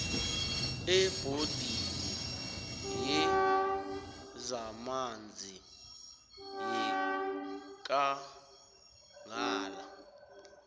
ebhodini yezamanzi yekangala